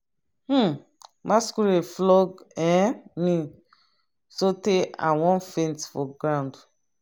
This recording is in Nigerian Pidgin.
um masquerade flog um me so tey i wan faint for ground.